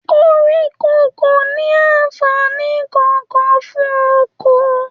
Koríko kò ní anfààní kankan fún oko.